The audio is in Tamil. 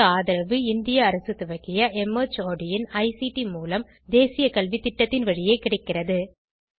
இதற்கு ஆதரவு இந்திய அரசு துவக்கிய மார்ட் இன் ஐசிடி மூலம் தேசிய கல்வித்திட்டத்தின் வழியே கிடைக்கிறது